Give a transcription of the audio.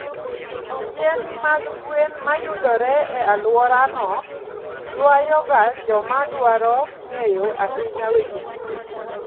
Yien mag gwen mayudore e alworano, ywayoga joma dwaro ng'eyo ahinya weche thieth.